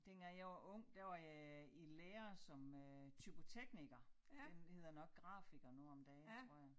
Dengang jeg var ung der var jeg i lære som øh typotekniker den hedder nok grafiker nu om dage tror jeg